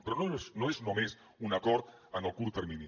però no és només un acord en el curt termini